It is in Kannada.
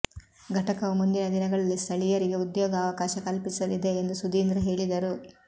ಘಟಕವು ಮುಂದಿನ ದಿನಗಳಲ್ಲಿ ಸ್ಥಳೀಯರಿಗೆ ಉದ್ಯೋಗಾವಕಾಶ ಕಲ್ಪಿಸಲಿದೆ ಎಂದು ಸುಧೀಂದ್ರ ಹೇಳಿದರು